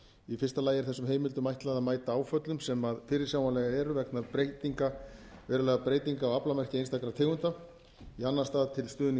í fyrsta lagi er þessum heimildum ætlað að mæta áföllum sem fyrirsjáanleg eru vegna verulegra breytinga á aflamarki einstakra tegunda í annan stað til stuðnings